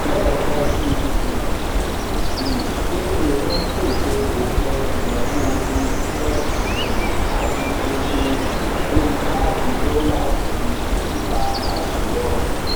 lẹẹkan sí um i payday ń pèsè òpin ìnáwó ojoojúmọ um àti oṣooṣù lórí káàdì dọlà ju chipper cash lọ